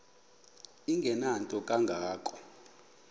engenanto kanga ko